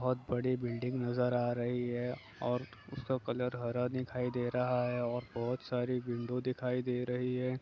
बहुत बड़ी बिल्डिंग नजर आ रही है और उसका कलर हरा दिखाई दे रहा है और बहुत सारी विंडो दिखाई दे रही हैं।